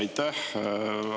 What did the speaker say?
Aitäh!